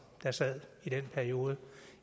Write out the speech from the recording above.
der sad i den periode